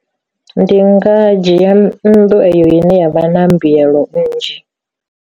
Ndi nga dzhia nnḓu eyo ine yavha na mbuyelo nnzhi.